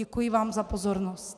Děkuji vám za pozornost.